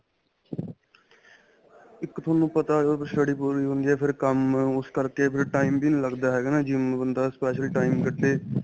ਇੱਕ ਤੁਹਾਨੂੰ ਪਤਾ ਜਦੋਂ study ਪੂਰੀ ਹੁੰਦੀ ਏ ਤਾਂ ਫ਼ੇਰ ਕੰਮ ਉਸ ਕਰਕੇ ਫ਼ਿਰ time ਵੀ ਨਹੀਂ ਲੱਗਦਾ ਹੈਗਾ GYM ਬੰਦਾ specially time ਕੱਢੇ